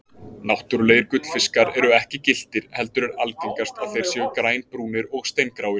Náttúrulegir gullfiskar eru ekki gylltir heldur er algengast að þeir séu grænbrúnir og steingráir.